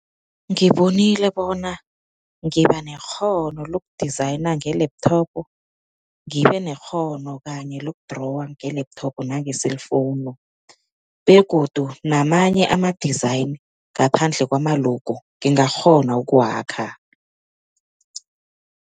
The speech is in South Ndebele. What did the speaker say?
Ngibinile bona ngibanekghono loku-designer nge-laptop, ngibe nekghono kanye loku-drawer nge-laptop nange-cellphone begodu namanye ama-design ngaphandle kwama-logo, ngingakghona ukuwakha.